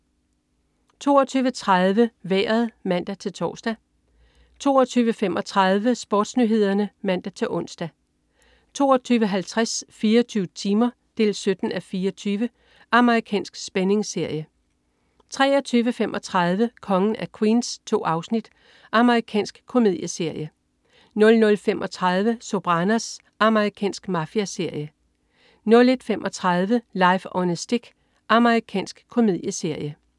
22.30 Vejret (man-tors) 22.35 SportsNyhederne (man-ons) 22.50 24 timer. 17:24 Amerikansk spændingsserie 23.35 Kongen af Queens. 2 afsnit. Amerikansk komedieserie 00.35 Sopranos. Amerikansk mafiaserie 01.35 Life on a Stick. Amerikansk komedieserie